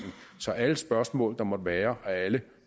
så alle spørgsmål der måtte være og alle